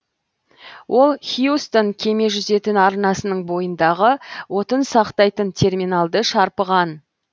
ол хьюстон кеме жүзетін арнасының бойындағы отын сақтайтын терминалды шарпыған